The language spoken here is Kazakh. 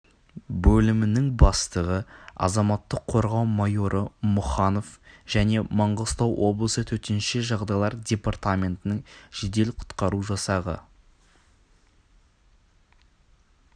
бөлімінің бастығы азаматтық қорғау майоры мұханов және маңғыстау облысы төтенше жағдайлар департаментінің жедел құтқару жасағы